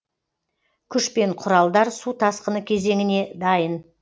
күш пен құралдар су тасқыны кезеңіне дайын